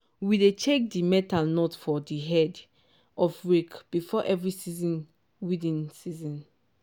we dey check di metal nut for di head of rake before every serious weeding season.